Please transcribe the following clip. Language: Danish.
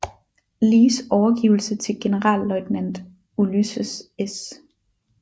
Lees overgivelse til Generalløjtnant Ulysses S